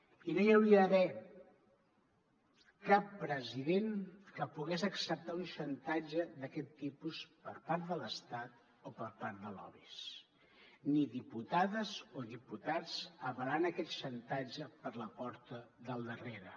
i no hi hauria d’haver cap president que pogués acceptar un xantatge d’aquest tipus per part de l’estat o per part de lobbys ni diputades o diputats avalant aquest xantatge per la porta del darrere